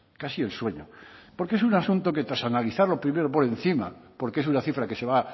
casi el sueño porque es un asunto que tras analizarlo primero por encima porque es una cifra que se va